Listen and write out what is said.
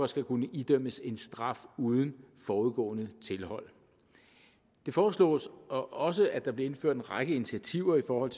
skal kunne idømmes en straf uden forudgående tilhold det foreslås også at der bliver indført en række initiativer i forhold